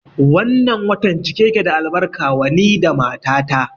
Wannan watan cike yake da albarka wa ni da mata ta